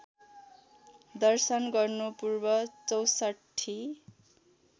दर्शन गर्नुपूर्व चौसठ्ठी